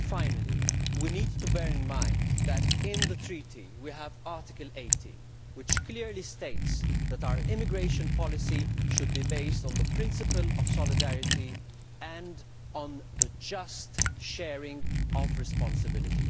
Finally, we need to bear in mind that in the Treaty, we have Article 80, which clearly states that our immigration policy should be based on the principle of solidarity and on the just sharing of responsibility.